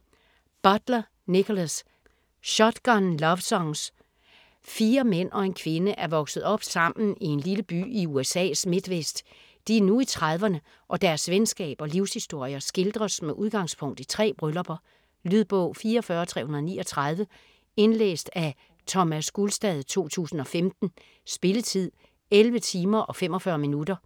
Butler, Nickolas: Shotgun lovesongs Fire mænd og en kvinde er vokset op sammen i en lille by i USA's midtvest. De er nu i trediverne, og deres venskab og livshistorier skildres med udgangspunkt i tre bryllupper. Lydbog 44339 Indlæst af Thomas Gulstad, 2015. Spilletid: 11 timer, 45 minutter.